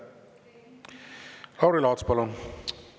Lauri Laats, palun!